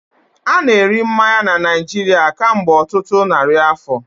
A na-eri mmanya na Naijiria kemgbe ọtụtụ narị afọ